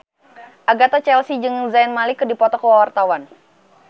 Agatha Chelsea jeung Zayn Malik keur dipoto ku wartawan